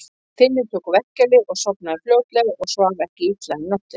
Finnur tók verkjalyf og sofnaði fljótlega og svaf ekki illa um nóttina.